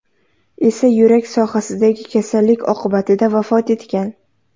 esa yurak sohasidagi kasallik oqibatida vafot etgan.